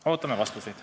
Ootame vastuseid.